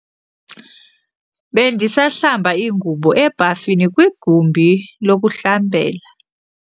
Bendisahlamba ingubo ebhafini kwigumbi lokuhlambela.